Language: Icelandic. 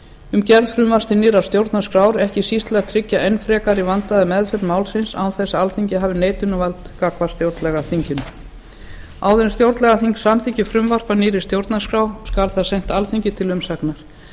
um gerð frumvarps til nýrrar stjórnarskrár ekki síst til að tryggja enn frekar vandaða meðferð málsins án þess þó að alþingi hafi neitunarvald gagnvart stjórnlagaþinginu áður en stjórnlagaþing samþykkir frumvarp að nýrri stjórnarskrá skal það sent alþingi til umsagnar